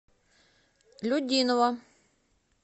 людиново